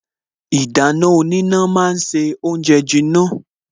Ìdáná oníná ma ń se oúnjẹ jiná